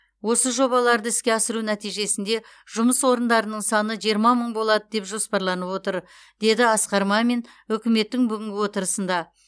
осы жобаларды іске асыру нәтижесінде жұмыс орындарының саны жиырма мың болады деп жоспарланып отыр деді асқар мамин үкіметтің бүгінгі отырысында